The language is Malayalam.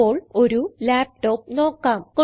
ഇപ്പോൾ ഒരു ലാപ്ടോപ്പ് നോക്കാം